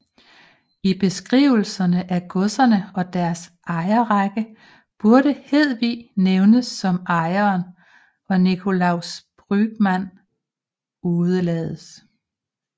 I beskrivelserne af godserne og deres ejerrækker burde Hedevig nævnes som ejeren og Nicolaus Brügmann udelades